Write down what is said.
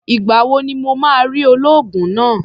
Ìgbà wo ni mo máa rí olóògùn náà?